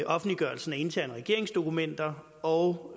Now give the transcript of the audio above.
offentliggørelsen af interne regeringsdokumenter og